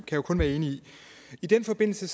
jo kun være enig i i den forbindelse